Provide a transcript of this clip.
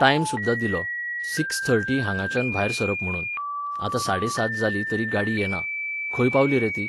Time सुद्दां दिल्लो, six thirty हांगाच्यान भायर सरप म्हुणून. आतां साडे सात जालीं तरी गाडी येना. खंय पावली रे ती?